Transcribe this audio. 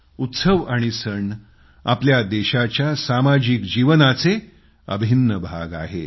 उत्सव आणि सण आपल्या देशाच्या सामाजिक जीवनाचे अभिन्न भाग आहेत